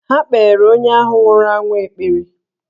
Ha kpeere onye ahụ nwụrụ anwụ ekpere.